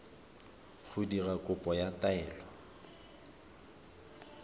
go dira kopo ya taelo